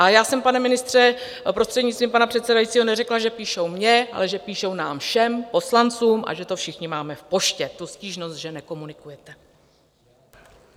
Ale já jsem, pane ministře, prostřednictvím pana předsedajícího, neřekla, že píšou mně, ale že píšou nám všem poslancům a že to všichni máme v poště - tu stížnost, že nekomunikujete.